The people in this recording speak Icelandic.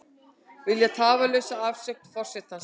Vilja tafarlausa afsögn forsetans